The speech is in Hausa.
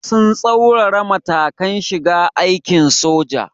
Sun tsaurara matakan shiga aikin soja.